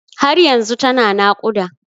Har yanzu tana naƙuda.